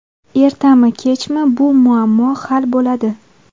Ertami kechmi bu muammo hal bo‘ladi.